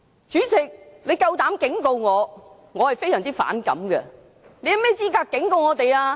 主席，你膽敢警告我，我非常反感，你有甚麼資格警告我們？